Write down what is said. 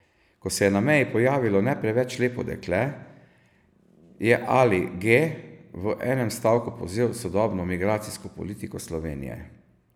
Ko se je na meji pojavilo ne preveč lepo dekle, je Ali G v enem stavku povzel sodobno migracijsko politiko Slovenije.